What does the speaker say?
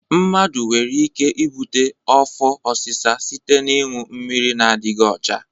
Mmadụ nwere ike ibute afọ ọsịsa site n'ịṅụ mmiri na-adịdghị ọcha.